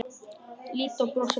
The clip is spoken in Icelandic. Lídó brosir bara að þessu.